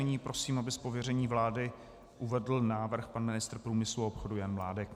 Nyní prosím, aby z pověření vlády uvedl návrh pan ministr průmyslu a obchodu Jan Mládek.